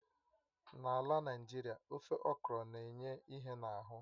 N'ala Naịjirịa, ofe okro na-enye ìhè n'ahụ